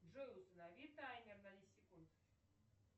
джой установи таймер на десять секунд